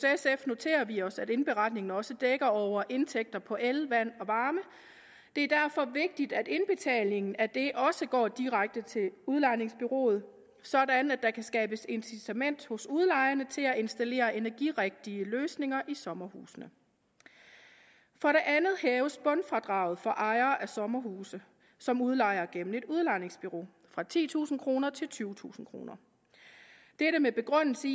noterer vi os at indberetningen også dækker over indtægter på el vand og varme og det er derfor vigtigt at indbetalingen af det også går direkte til udlejningsbureauet sådan at der kan skabes incitament hos udlejerne til at installere energirigtige løsninger i sommerhusene for det andet hæves bundfradraget for ejere af sommerhuse som udlejer gennem et udlejningsbureau fra titusind kroner til tyvetusind kroner begrundelsen